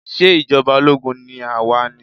Ṣé ìjọba ológun ni a wà ni?